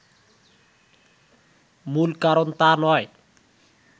মূল কারণ তা নয়